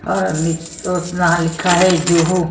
तो ना लिखा है जो हो।